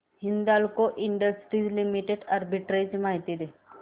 Hindalco industries limited arbitrage माहिती दे